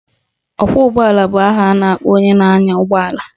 Ọkwọụgbọala bụ aha a na-akpọ onye na-anya ụgbọala